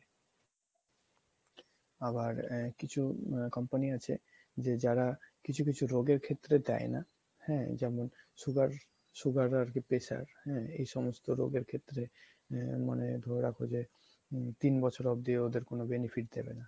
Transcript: আবার কিছু company আছে যে যারা কিছু কিছু রোগের ক্ষেত্রে দেয় না হ্যাঁ যেমন sugar, sugar আর কী pressure হ্যাঁ এই সমস্ত রোগের ক্ষেত্রে আহ মানে ধরে রাখো যে হুম তিন বছর অবদি ওদের কনো benefit দিবে না।